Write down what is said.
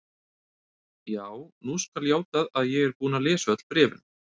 Já, nú skal játað að ég er búinn að lesa öll bréfin.